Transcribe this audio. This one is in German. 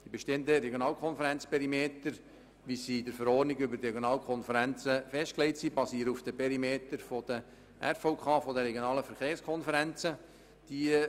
Die bestehenden Regionalkonferenzperimeter, wie sie in der Verordnung über die Regionalkonferenzen (RKV) festgelegt sind, basieren auf den Perimetern der Regionalen Verkehrskonferenzen (RVK).